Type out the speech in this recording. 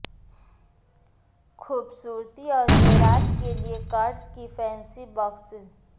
خوبصورتی اور زیورات کے لئے کارڈز کے فینسی باکسز